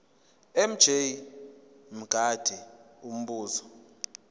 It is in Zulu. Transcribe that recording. mj mngadi umbuzo